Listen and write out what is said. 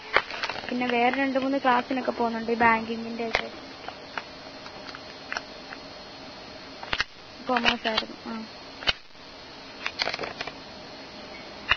പിന്നെ വേറെ രണ്ടു മൂന്ന് ക്ലാസ്സിനൊക്കെ പോകുന്നുണ്ട്. ഈ ബാങ്കിങ്ങിന്റെ ഒക്കെ. commerce ആണ്